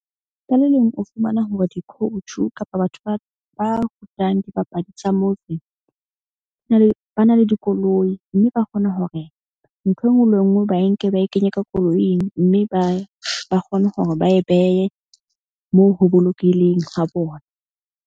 Ka le leng o fumana hore di-coach-u kapa batho ba rutang, dibapadi tsa di na le ba na le dikoloi. Mme ba kgona ho re ntho e nngwe le e nngwe ba e nke ba e kenye ka koloing. Mme ba kgone hore ba e behe moo ho bolokehileng ha bona.